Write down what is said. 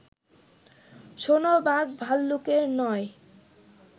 শোনো বাঘ-ভাল্লুকের নয়